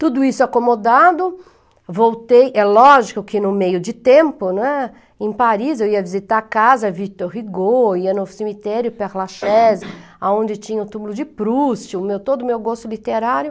Tudo isso acomodado, voltei, é lógico que no meio de tempo, né, em Paris, eu ia visitar a casa Vitor Rigaud, ia no cemitério Perlachese, onde tinha o túmulo de Proust, todo o meu gosto literário.